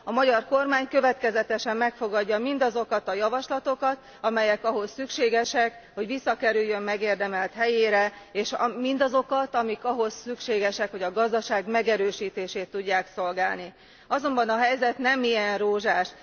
A magyar kormány következetesen megfogadja mindazokat a javaslatokat, amelyek ahhoz szükségesek, hogy visszakerüljön megérdemelt helyére, és amelyek ahhoz szükségesek, hogy a gazdaság megerősítését tudják szolgálni. Azonban a helyzet nem ilyen rózsás.